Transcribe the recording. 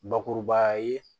Bakurubaya ye